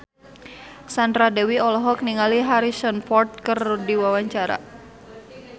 Sandra Dewi olohok ningali Harrison Ford keur diwawancara